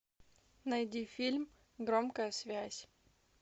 найди фильм громкая связь